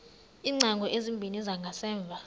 iingcango ezimbini zangasemva